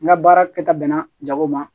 N ka baara kɛta bɛnna jago ma